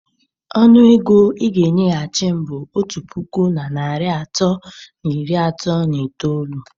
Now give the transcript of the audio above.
Ọnụ ego ịga enyeghachi m bụ otu puku na narị atọ na iri asatọ na itoolu.